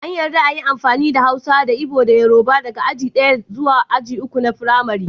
An yadda a yi amfani da Hausa da Igbo da Yoruba daga aji ɗaya zuwa aji uku na Firamari.